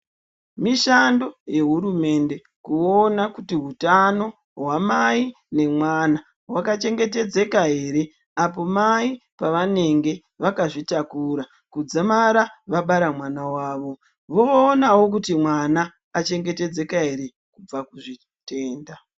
Mishando yehurumende kuona kuti hutano hwamai nemwana hwakachengetedzeka ere. Apomai pavanenge vakazvitakura kudzamara vabara mwana vavo voonavo kuti mwana vakachengetedzeka ere kubva kuzvitenda.